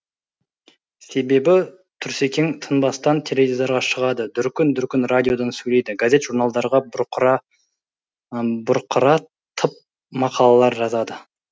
себебі тұрсекең тынбастан теледидарға шығады дүркін дүркін радиодан сөйлейді газет журналдарға бұрқыратып мақалалар жазады